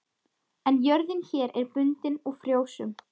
En jörðin hér er bundin og frjósöm.